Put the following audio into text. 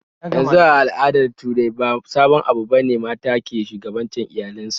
Yanzu a al'adar turawa ba sabon abu bane mata ke shugabancin iyalin su